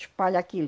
Espalha aquilo.